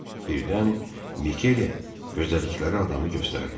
Birdən Mikele gözlədikləri adamı göstərdi.